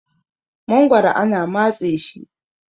magoro ana matse shi